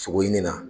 Sogo ɲini na